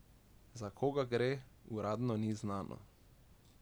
Za koga gre, uradno ni znano.